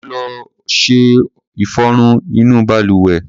Ó lo ọṣẹ ìfọrun inú balùwẹ̀.